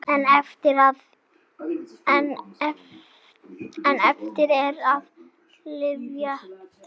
En eftir er að lyfta.